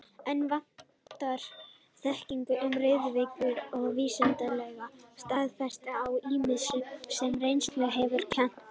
Enn vantar á þekkingu um riðuveiki og vísindalega staðfestingu á ýmsu, sem reynslan hefur kennt.